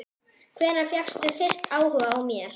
Dragið fram úr hugarfylgsnum yðar orðin Þórunnar.